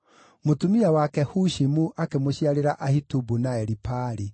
Mũtumia wake Hushimu akĩmũciarĩra Ahitubu na Elipaali.